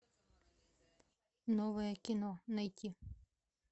новое кино найти